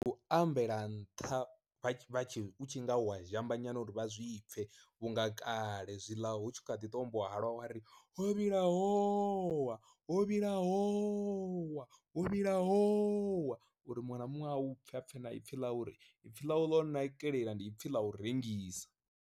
U ambela nṱha vha tshi u tshi nga u wa zhamba nyana uri vha zwi pfhe, vhunga kale zwiḽa hu tshi kha ḓi tombiwa halwa wari ho vhila howa ho vhila howa ho vhila howa. Uri muṅwe na muṅwe a u pfhe apfe na ipfhi ḽau uri ipfi ḽawu ḽo nakelela ndi ipfhi ḽa u rengisa.